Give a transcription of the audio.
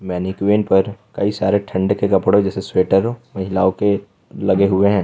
पर कई सारे ठंड के कपड़े जैसे स्वेटर महिलाओं के लगे हुए हैं।